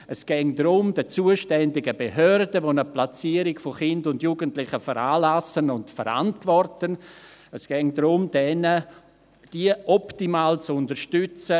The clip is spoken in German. Es gehe darum, die zuständigen Behörden, die eine Platzierung von Kindern und Jugendlichen veranlassen und verantworten, in ihrer Aufgabe optimal zu unterstützen.